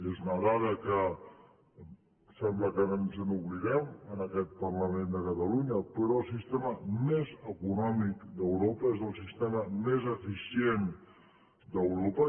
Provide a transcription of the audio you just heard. és una dada que em sembla que ara ens n’oblidem en aquest parlament de catalunya però el sistema més econòmic d’europa és el sistema més eficient d’europa